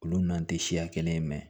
Olu n'an tɛ siya kelen ye mɛ